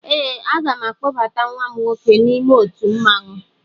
Ee, aga m akpọbata nwa m nwoke n'ime otu mmanwụ